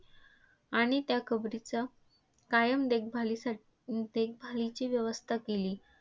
आणि त्या कबरीच्या कायम देखभालीसाठदेखभालीची व्यवस्था केली.